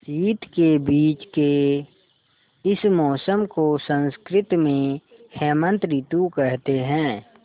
शीत के बीच के इस मौसम को संस्कृत में हेमंत ॠतु कहते हैं